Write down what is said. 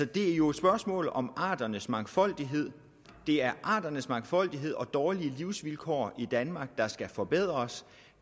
det er jo et spørgsmål om arternes mangfoldighed det er arternes mangfoldighed og dårlige livsvilkår i danmark der skal forbedres